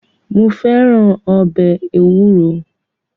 Mo fẹ́ràn ọbẹ̀ ewúro.